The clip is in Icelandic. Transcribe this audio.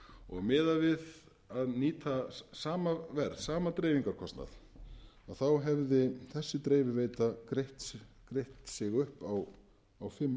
og miðað við að nýta sama dreifingarkostnað hefði þessi dreifiveita greitt sig upp á fimm árum þannig að það er augljóst að inni í þessum flutningskostnaði